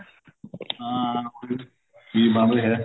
ਹਾਂ ਉਹਦੇ ਵਿੱਚ ਕੀ ਬਣ ਰਿਹਾ